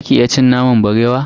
Zaki iya cin naman barewa?